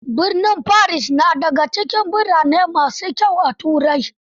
Birnin Paris na da ga cikin birane ma su kyau a Turai.